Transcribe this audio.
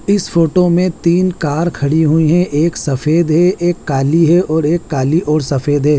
इस फोटो में तीन कार खड़ी हुई हैं एक सफेद है एक काली है और एक काली और सफेद है।